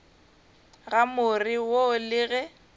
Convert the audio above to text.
ga more wo le ge